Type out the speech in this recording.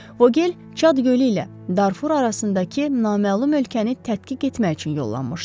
Vogel Çad gölü ilə Darfur arasındakı naməlum ölkəni tədqiq etmək üçün yollanmışdı.